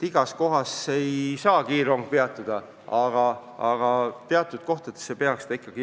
Igas kohas ei saa kiirrong peatuda, aga teatud kohtades siiski.